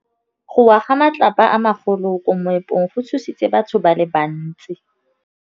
Go wa ga matlapa a magolo ko moepong go tshositse batho ba le bantsi.